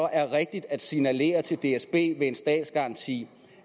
er rigtigt at signalere til dsb med en statsgaranti